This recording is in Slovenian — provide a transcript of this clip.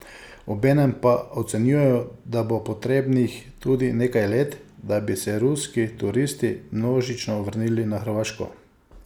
Obenem pa ocenjujejo, da bo potrebnih tudi nekaj let, da bi se ruski turisti množično vrnili na Hrvaško.